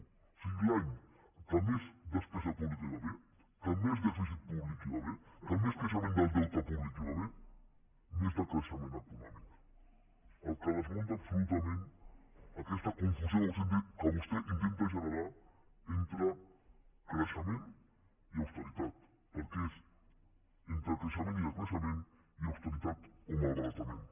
o sigui l’any que més despesa pública hi va haver que més dèficit públic hi va haver que més creixement del deute públic hi va haver més decreixement econòmic la qual cosa desmunta absolutament aquesta confusió que vostè intenta generar entre creixement i austeritat perquè és entre creixement i decreixement i austeritat o malbaratament